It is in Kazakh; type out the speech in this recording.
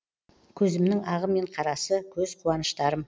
көзімнің ағы мен қарасы көз қуаныштарым